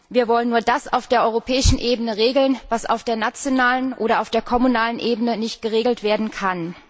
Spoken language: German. Wir wollen nur das auf der europäischen Ebene regeln, was auf der nationalen oder auf der kommunalen Ebene nicht geregelt werden kann.